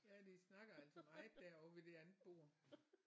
Ja de snakker altså meget derovre ved det andet bord